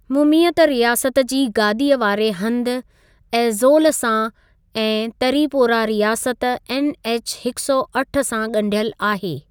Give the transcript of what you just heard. मुमीयत रियासत जी गादीअ वारे हंधि एज़ोल सां ऐं तरीपोरा रियासत ऐनएछ हिकु सौ अठ सां ॻंढियल आहे।